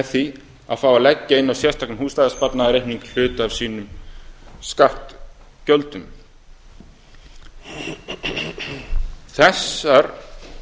því að fá að leggja inn á sérstakan húsnæðissparnaðarreikning hluta af sínum skattgjöldum þessar